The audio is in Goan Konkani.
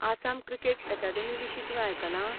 आसाम क्रिकेट अकादेमी विशीं तुवें आयकलां?